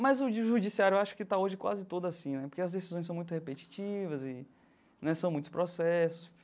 Mas o de judiciário eu acho que está hoje quase todo assim né, porque as decisões são muito repetitivas e né são muitos processos.